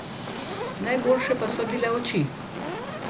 Najboljše pa so bile oči.